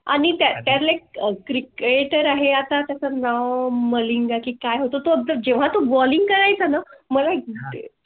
आणि फक्त cricketer आहे आता समजा मलिंगा ची काय होतो? जेव्हा तो balling करायचा ना.